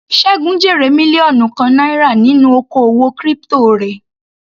Segun jèrè mílíọ̀nù kan náírà nínú oko òwò crypto rẹ̀.